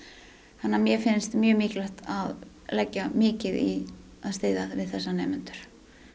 þannig að mér finnst mjög mikivægt að leggja mikið í að styðja við þessa nemendur